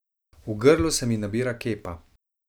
V grlu se mi nabira kepa.